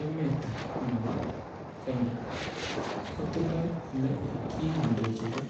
Emet nebo ke nya kotindo ole kikindochindo